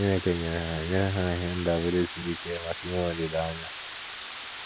Chineke nyere ha nyere ha ihe ndabere siri ike maka inwe olileanya.